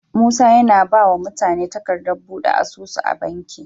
Musa yAna bawa mutane takadar buɗe asusu a banki